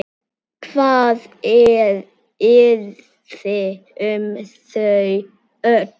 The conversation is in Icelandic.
Hvað yrði um þau öll?